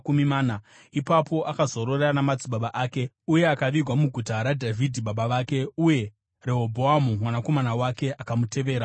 Ipapo akazorora namadzibaba ake uye akavigwa muguta raDhavhidhi baba vake. Uye Rehobhoamu mwanakomana wake akamutevera paumambo.